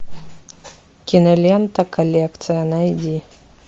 кинолента коллекция найди